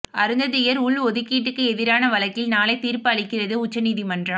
அருந்ததியர் உள் ஒதுக்கீட்டுக்கு எதிரான வழக்கில் நாளை தீர்ப்பு அளிக்கிறது உச்சநீதிமன்றம்